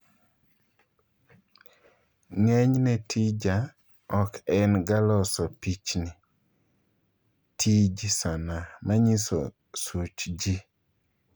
Ng'enyne tija ok en ga loso pichicni (Tij sanaa)manyiso such jii.